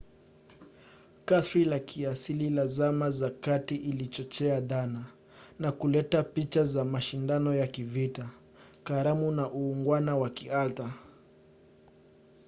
kasri la kiasili la zama za kati lilichochea dhana na kuleta picha za mashindano ya kivita karamu na uungwana wa kiartha